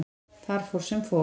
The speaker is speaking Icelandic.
Þar fór sem fór.